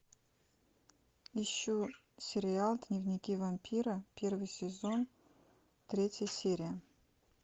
ищу сериал дневники вампира первый сезон третья серия